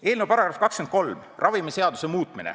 Eelnõu § 23, "Ravimiseaduse muutmine".